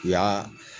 U y'aa